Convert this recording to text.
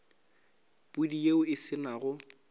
pudi yeo e se nago